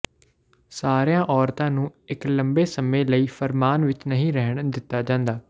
ਸਾਰੀਆਂ ਔਰਤਾਂ ਨੂੰ ਇੱਕ ਲੰਮੇ ਸਮੇਂ ਲਈ ਫਰਮਾਨ ਵਿੱਚ ਨਹੀਂ ਰਹਿਣ ਦਿੱਤਾ ਜਾਂਦਾ